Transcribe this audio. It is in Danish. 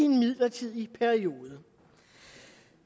midlertidig periode